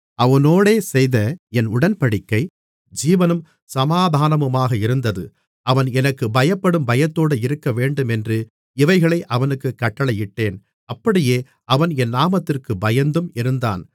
அவனோடே செய்த என் உடன்படிக்கை ஜீவனும் சமாதானமுமாக இருந்தது அவன் எனக்குப் பயப்படும் பயத்தோடே இருக்கவேண்டுமென்று இவைகளை அவனுக்குக் கட்டளையிட்டேன் அப்படியே அவன் என் நாமத்திற்குப் பயந்தும் இருந்தான்